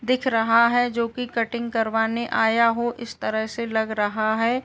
दिख रहा है जो कि कटिंग करवाने आया हो इस तरह से लग रहा है।